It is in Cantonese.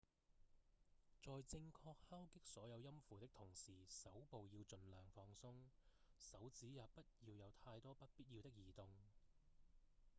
在正確敲擊所有音符的同時手部要盡量放鬆手指也不要有太多不必要的移動